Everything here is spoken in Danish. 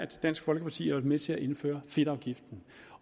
dansk folkeparti har med til at indføre fedtafgiften